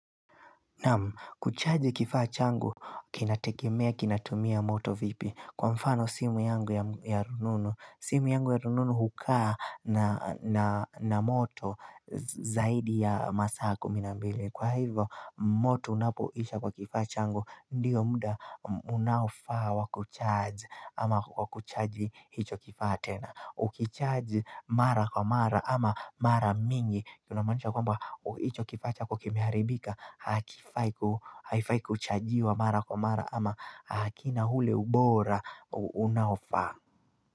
Naam kuchaji kifaa changu kinategemea kinatumia moto vipi kwa mfano simu yangu ya rununu. Simu yangu ya rununu hukaa na moto zaidi ya masaa kumi na mbili. Kwa hivyo, moto unapoisha kwa kifaa changu, ndiyo muda unaofaa wa kucharge ama wa kuchargi hicho kifaa tena. Ukicharge mara kwa mara ama mara mingi, tunamanisha kwamba hicho kifaa chako kimeharibika Hakifai kuchajiwa mara kwa mara ama hakina ule ubora unafaa.